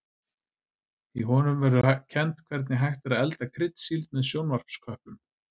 Í honum verður kennt hvernig hægt er að elda kryddsíld með sjónvarpsköplum.